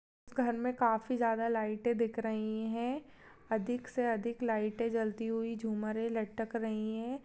उस घर में काफी ज्यादा लाइटे दिख रही है अधिक से अधिक लाइटे जलती हुई झुमरे लटक रही है।